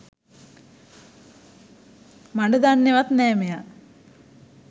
මඩ දන්නෙවත් නෑ මෙයා.